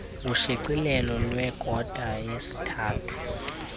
ushicilelo lwekota yesithathu